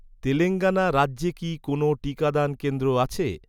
তেলেঙ্গানা রাজ্যে কি কোনও টিকাদান কেন্দ্র আছে?